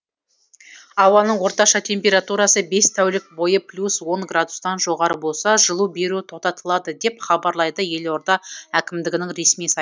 ауаның орташа температурасы бес тәулік бойы плюс он градустан жоғары болса жылу беру тоқтатылады деп хабарлайды елорда әкімдігінің ресми сайты